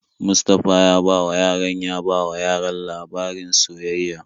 Mustapha ya bawa yaran ya bawa yaran labarin soyayya.